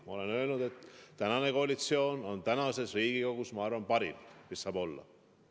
Ma olen öelnud, et tänane koalitsioon on tänases Riigikogus parim, mis saab olla.